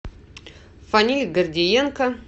фаниль гордиенко